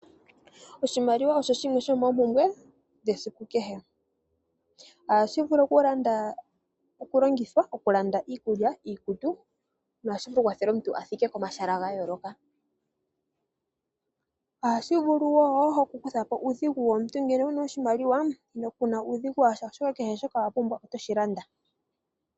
Oshimaliwa osho shimwe shomoompumbwe dhesiku kehe. Ohashi vulu okulongithwa okulanda iikulya, iikutu nohashi tu kwathele omuntu a thike komahala ga yooloka. Ohashi vulu wo okukutha po uudhigu womuntu. Ngele wu na oshimaliwa ku na uudhigu wa sha, oshoka kehe shoka wa pumbwa oto shi landa.